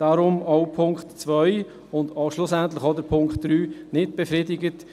Deshalb auch zu Punkt 2: nicht befriedigt.